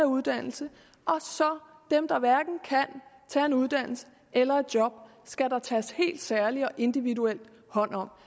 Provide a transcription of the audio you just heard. uddannelse og dem der hverken kan tage en uddannelse eller et job skal der tages helt særlig individuel hånd om